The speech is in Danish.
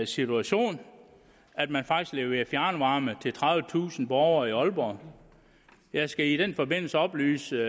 situation at man faktisk leverer fjernvarme til tredivetusind borgere i aalborg jeg skal i den forbindelse oplyse